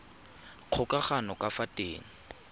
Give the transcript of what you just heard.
kgokagano ya ka fa teng